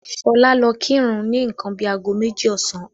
Ṣọlá lọ kírun ni nǹkan bíi ago méjì ọ̀sán.